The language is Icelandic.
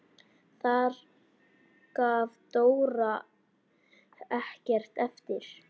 Þar gaf Dóra ekkert eftir.